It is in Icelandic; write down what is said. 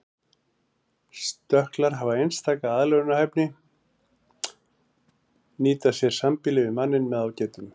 Stökklar hafa einstaka aðlögunarhæfni nýta sér sambýli við manninn með ágætum.